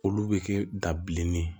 Olu bɛ kɛ da bilenni ye